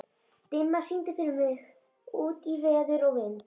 Dimma, syngdu fyrir mig „Út í veður og vind“.